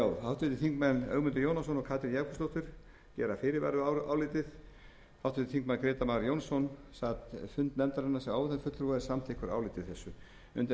þingmaður ögmundur jónasson og katrín jakobsdóttir gera fyrirvara við álitið háttvirtir þingmenn grétar mar jónsson sat fund nefndarinnar sem áheyrnarfulltrúi og er samþykkur áliti þessu undir